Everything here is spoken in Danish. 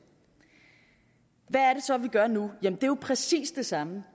hvad så vi gør nu jamen jo præcis det samme